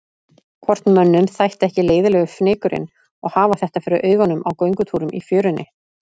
Hvort mönnum þætti ekki leiðinlegur fnykurinn og hafa þetta fyrir augunum á göngutúrum í fjörunni.